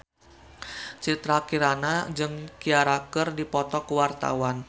Citra Kirana jeung Ciara keur dipoto ku wartawan